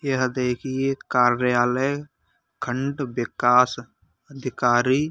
यह देखिए कार्यालय खंड विकास अधिकारी --